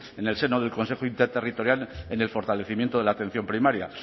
en el seno del consejo interterritorial en el fortalecimiento de la atención primaria